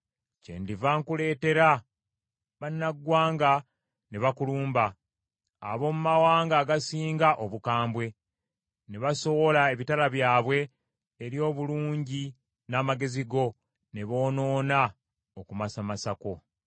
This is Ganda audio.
kyendiva nkuleetera bannaggwanga ne bakulumba, ab’omu mawanga agasinga obukambwe, ne basowola ebitala byabwe eri obulungi n’amagezi go, ne boonoona okumasamasa kwo.